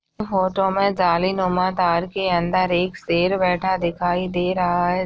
Photo में जाली नुमा तार के अंदर एक शेर बैठा दिखाई दे रहा है।